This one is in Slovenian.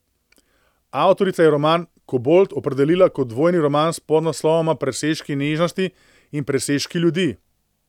Avtorica je roman Kobold opredelila kot dvojni roman s podnaslovoma Presežki nežnosti in Presežki ljudi.